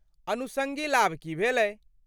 अनुषंगी लाभ की भेलै?